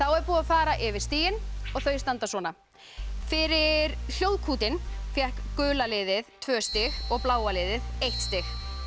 er búið að fara yfir stigin og þau standa svona fyrir Hljóðkútinn fékk gula liðið tvö stig og bláa liðið eitt stig